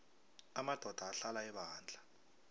amadoda ahlala ebandla